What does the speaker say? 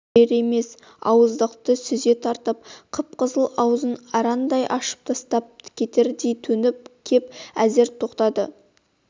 берер емес ауыздықты сүзе тартып қып-қызыл аузын арандай ашып таптап кетердей төніп кеп әзер тоқтады